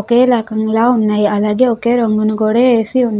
ఒకే రకం గా ఉన్నవి. అలాగే ఒకే రంగుని కూడా వేసి ఉన్నవి.